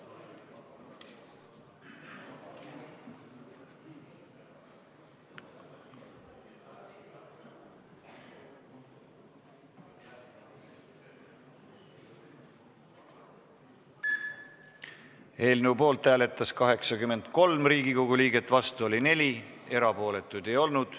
Hääletustulemused Eelnõu poolt hääletas 83 Riigikogu liiget, vastu oli 4, erapooletuid ei olnud.